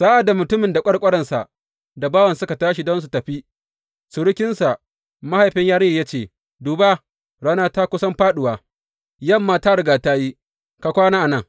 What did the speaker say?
Sa’ad da mutumin da ƙwarƙwaransa da bawansa, suka tashi don su tafi, surukinsa, mahaifin yarinyar ya ce, Duba, rana ta kusan fāɗuwa, yamma ta riga ta yi, ka kwana a nan.